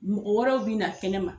Mɔgɔ wɛrɛw bi na kɛnɛma.